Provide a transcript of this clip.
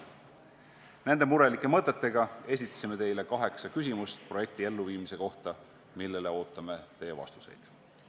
Nende murelike mõtetega esitasime teile kaheksa küsimust projekti elluviimise kohta, millele ootame teie vastuseid.